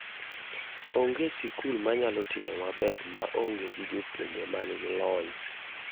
Ong'e sikul manayalo timo maber ma onge gi jopuonje man gi lony.